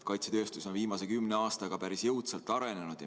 Kaitsetööstus on viimase kümne aastaga päris jõudsalt arenenud.